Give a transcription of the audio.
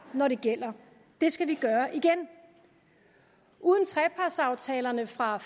når det gælder det skal vi gøre igen uden trepartsaftalerne fra